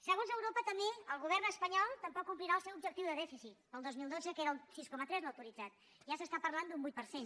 segons europa també el govern espanyol tampoc complirà el seu objectiu de dèficit per al dos mil dotze que era el sis coma tres l’autoritzat ja s’està parlant d’un vuit per cent